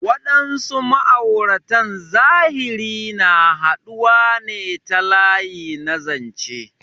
Waɗansu ma'auratan zahiri na haɗuwa ne ta layi na zanche.